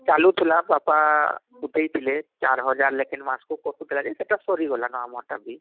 ଚାଲୁଥିଲା ବାପା ଉଠେଇ ଥିଲେ ଚାର ହଜାର ଲେଖାଏ ମାସକୁ କଟୁଥିଲା ଯେ ସେଟା ସରିଗଲା ନ ଆମର ଟା ବି